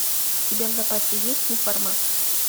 у тебя в запасе есть неформат